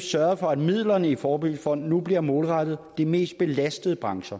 sørget for at midlerne i forebyggelsesfonden nu bliver målrettet de mest belastede brancher